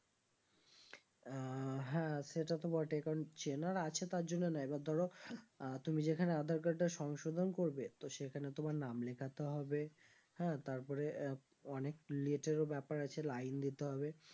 ও হ্যাঁ সেটা তো বটেই কারণ চেনার আছে তারজন্য না এবার ধরো আহ তুমি যেখানে আধার card টা সংশোধন করবে তো সেখানে তোমার নাম লেখাতে হবে হ্যাঁ তারপরে আহ অনেক ব্যাপার আছে line দিতে হবে